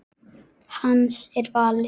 Hans er valið.